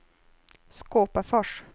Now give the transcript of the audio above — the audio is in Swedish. Skåpafors